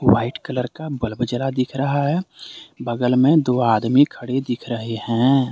White colour का bulb जला दिख रहा है बगल में दो आदमी खड़े दिख रहे हैं।